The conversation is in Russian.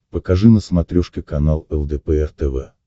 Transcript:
покажи на смотрешке канал лдпр тв